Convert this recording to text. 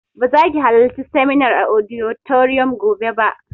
Ba za ki halarci seminar a auditorium gobe ba!